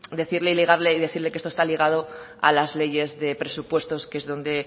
decirle y ligarle y decirlo que esto está ligado a las leyes de presupuestos que es donde